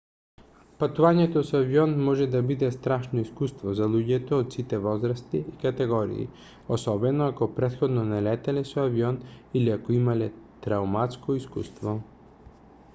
патувањето со авион може да биде страшно искуство за луѓето од сите возрасти и категории особено ако претходно не летале со авион или ако имале трауматско искуство